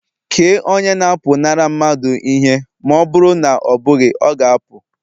Kee onye na-apụnara mmadụ ihe ma ọ bụrụ na ọ bụghị, ọ ga-apụ